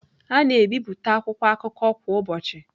A na-ebipụta akwụkwọ akụkọ kwa ụbọchị.